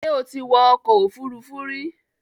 Ṣé o ti wọ ọkọ̀ òfurufú rí?